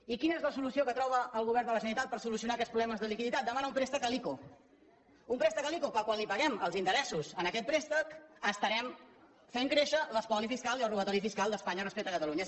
i quina és la solució que troba el govern de la generalitat per solucionar aquests problemes de liquiditat demanar un préstec a l’ico un préstec a l’ico que quan paguem els interessos d’aquest préstec estarem fent créixer l’espoli fiscal i el robatori fiscal d’espanya respecte a catalunya